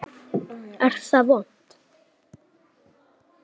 Er það vont?